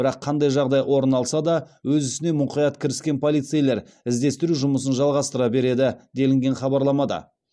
бірақ қандай жағдай орын алса да өз ісіне мұқият кіріскен полицейлер іздестіру жұмысын жалғастыра береді делінген хабарламада